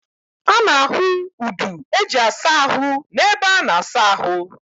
A na-ahu udu eji asa ahu n'ebe a na-asa ahu.